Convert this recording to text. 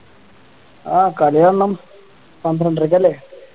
ആഹ് കളി കാണണം പന്ത്രണ്ടരയ്ക്ക് അല്ലേ